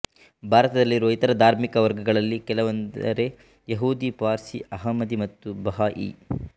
ಭಾರತದಲ್ಲಿರುವ ಇತರ ಧಾರ್ಮಿಕ ವರ್ಗಗಳಲ್ಲಿ ಕೆಲವೆಂದರೆ ಯಹೂದಿ ಪಾರ್ಸಿ ಅಹ್ಮದಿ ಮತ್ತು ಬಹಾಈ